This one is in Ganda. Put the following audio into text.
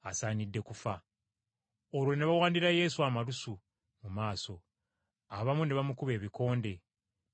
Olwo ne bawandira Yesu amalusu mu maaso, abamu ne bamukuba ebikonde ne bamukuba empi,